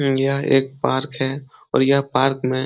हम्म यह एक पार्क है और यह पार्क में --